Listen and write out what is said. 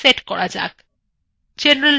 general ট্যাবে click করুন